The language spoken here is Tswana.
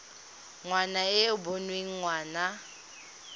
ngwana e e boneng ngwana